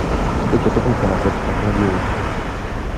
встреча тоттенхэма против астон виллы